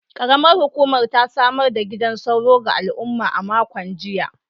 Karamar Hukumar ta samar da gidan sauro ga al’umma a makon jiya.